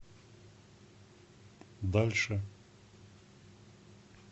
дальше